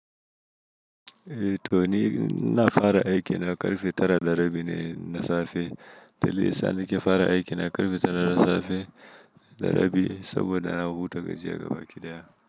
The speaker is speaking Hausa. Eh toni ina fara aiki na karfe tara da rabi ne na safe, dalilin da yasa nake fara aiki na karfe tara na safe da rabi saboda na huta gajiya ga bakiɗaya.